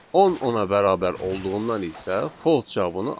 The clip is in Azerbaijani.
10 10-a bərabər olduğundan isə false cavabını aldıq.